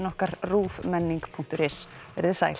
okkar ruvmenning punktur is verið þið sæl